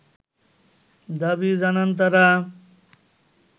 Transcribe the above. দাবি জানান তারা